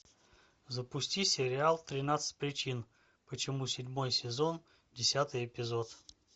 запусти сериал тринадцать причин почему седьмой сезон десятый эпизод